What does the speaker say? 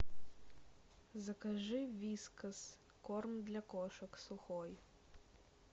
закажи вискас корм для кошек сухой